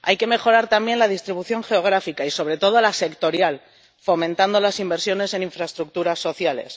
Hay que mejorar también la distribución geográfica y, sobre todo, la sectorial, fomentando las inversiones en infraestructuras sociales.